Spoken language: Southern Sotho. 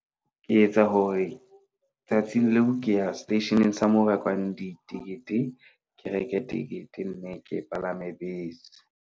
Ke etsa hore tsatsing leo ke ya seteisheneng sa mo rekwang ditikete, ke reke tekete mme ke palame bese.